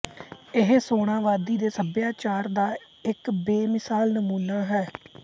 ਇਹ ਸੋਨਾ ਵਾਦੀ ਦੇ ਸਭਿਆਚਾਰ ਦਾ ਇੱਕ ਬੇ ਮਿਸਾਲ ਨਮੂਨਾ ਹੈ